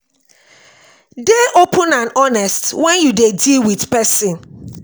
dey open and honest when you dey deal with person